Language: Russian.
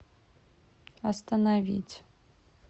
остановить